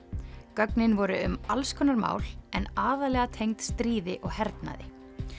gögnin voru um alls konar mál en aðallega tengd stríði og hernaði